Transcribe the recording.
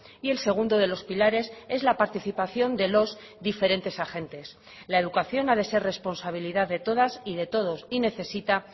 y el segundo de los pilares es la participación de los diferentes agentes la educación ha de ser responsabilidad de todas y de todos y necesita